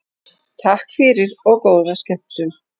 Takk fyrir og góða skemmtun.